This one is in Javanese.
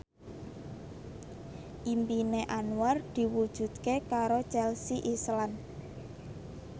impine Anwar diwujudke karo Chelsea Islan